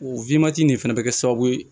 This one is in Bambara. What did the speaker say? O nin fɛnɛ bɛ kɛ sababu ye